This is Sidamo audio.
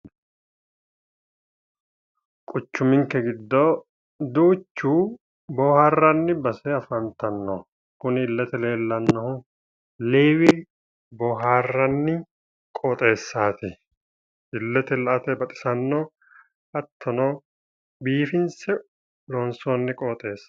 Quchuminke giddo duuchu booharanni qoxxeesati, kuni Levi booharanni ilete baxisano garini biifinse loonsoniho